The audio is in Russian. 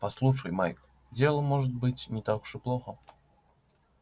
послушай майк дело может быть не так уж и плохо